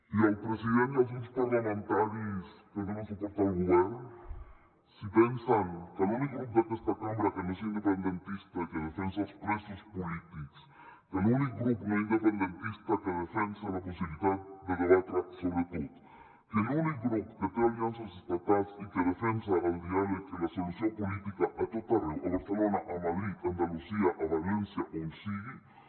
i al president i als grups parlamentaris que donen suport al govern si pensen que l’únic grup d’aquesta cambra que no és independentista i que defensa els presos polítics que l’únic grup no independentista que defensa la possibilitat de debatre sobre tot que l’únic grup que té aliances estatals i que defensa el diàleg i la solució política a tot arreu a barcelona a madrid a andalusia a valència on sigui